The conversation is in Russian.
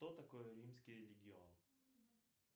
что такое римский легион